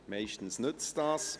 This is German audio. Meist nützt das.